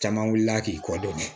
Caman wulila k'i kɔ don